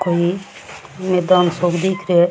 कोई मैदान सो क दिख रहियो है।